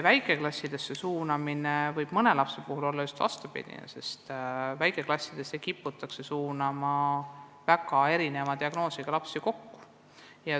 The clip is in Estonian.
Väikeklassi suunamine võib mõne lapse puhul mõjuda vastupidi soovitule, sest väikeklassidesse kiputakse suunama väga erineva diagnoosiga lapsi.